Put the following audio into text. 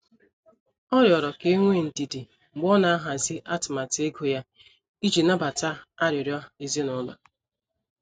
Ọ riọrọ ka enwee ndidi mgbe ọ na-ahazi atụmatụ ego ya iji nabata arịriọ ezinụlọ.